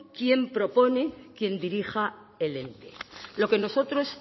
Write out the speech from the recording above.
quien propone quien dirija el ente lo que nosotros